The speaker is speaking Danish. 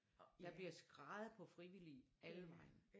Der bliver skreget på frivillige alle vegne